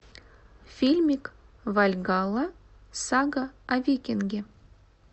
фильмик вальгалла сага о викинге